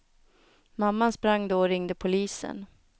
Mamman sprang då och ringde polisen.